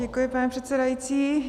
Děkuji, pane předsedající.